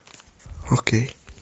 окей